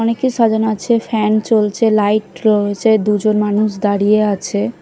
অনেক কিছু সাজানো রয়েছে ফ্যান চলছে লাইট রয়েছে দুজন মানুষ দাঁড়িয়ে আছে ।